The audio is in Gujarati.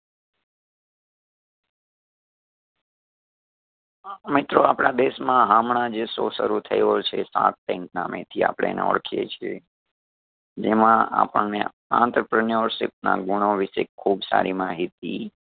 મિત્રો આપણાં દેશમાં હમણાંજ show શરૂ થયો છે shark tank નામે થી આપડે એના ઓળખીએ છીએ જેમાં આપણને entrepreneurship ના ગુણો વિષે ખૂબ સારી માહિતી